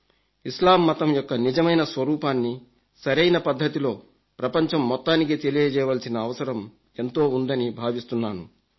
ఇస్లాం మతం యొక్క నిజమైన స్వరూపాన్ని సరైన పద్ధతిలో ప్రపంచం మొత్తానికి తెలియజేయవలసిన అవసరం ఎంతో ఉందని భావిస్తున్నాను